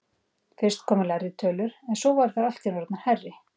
Fyrst komu lægri tölur en svo voru þær allt í einu orðnar hærri.